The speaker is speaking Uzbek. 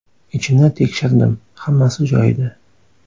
Ichini tekshirdim hammasi joyida.